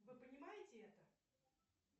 вы понимаете это